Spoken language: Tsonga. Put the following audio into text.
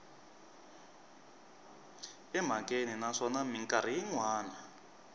emhakeni naswona mikarhi yin wana